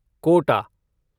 Kota